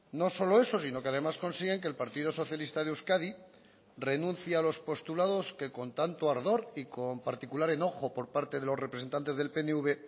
no solo eso sino que además consiguen que el partido socialista de euskadi renuncie a los postulados que con tanto ardor y con particular enojo por parte de los representantes del pnv